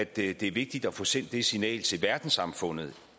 det er vigtigt at få sendt det signal til verdenssamfundet